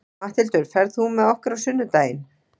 Matthildur, ferð þú með okkur á sunnudaginn?